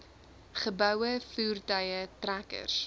geboue voertuie trekkers